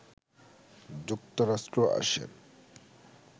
যুক্তরাষ্ট্র আসেন